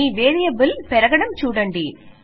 మీ variable హెచ్చడం చూడండి